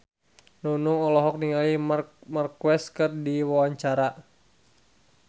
Nunung olohok ningali Marc Marquez keur diwawancara